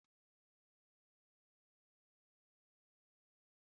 Ága m abịa maka oriri na ọṅụṅụ taa